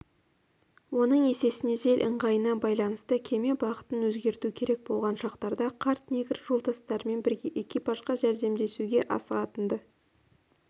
оның есесіне жел ыңғайына байланысты кеме бағытын өзгерту керек болған шақтарда қарт негр жолдастарымен бірге экипажға жәрдемдесуге асығатын-ды